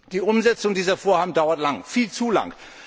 Die Umsetzung dieser Vorhaben dauert lang, viel zu lang.